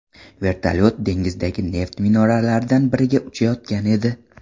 Vertolyot dengizdagi neft minoralaridan biriga uchayotgan edi.